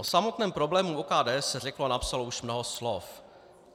O samotném problému OKD se řeklo a napsalo už mnoho slov.